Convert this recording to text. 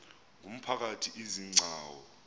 ngumphakathi izi gcawu